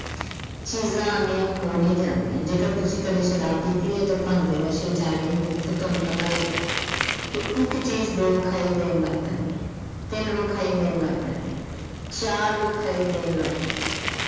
ਚੀਜ਼ਾਂ ਅਨੇਕ ਹੋ ਨਹੀਂ ਜਾਦੀਆਂ ਜੇਕਰ ਤੁਸੀਂ ਕਦੇ ਸ਼ਾਰਾਬ ਪੀਤੀ ਐ ਜਾਂ ਭੰਗ ਦੇ ਨਸ਼ੇ ਚ ਆ ਗਏ ਹੋਵੋ ਤਾਂ ਤੁਹਾਨੂੰ ਪਤਾ ਹੋਵੇਗਾ, ਕਿ ਇੱਕ ਚੀਜ਼ ਦੋ ਵਿਖਾਈ ਦੇਣ ਲੱਗ ਪੈਦੀਐਂ, ਤਿੰਨ ਵਿਖਾਈ ਦੇਣ ਲੱਗ ਪੈਦੀਐਂ, ਚਾਰ ਵਿਖਾਈ ਦੇਣ ਲੱਗ ਪੈਦੀਐਂ।